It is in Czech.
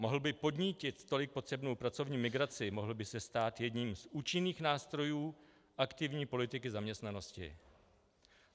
Mohl by podnítit tolik potřebnou pracovní migraci, mohl by se stát jedním z účinných nástrojů aktivní politiky zaměstnanosti.